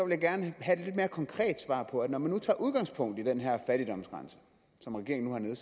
jeg gerne have et lidt mere konkret svar på at når man tager udgangspunkt i den her fattigdomsgrænse som regeringen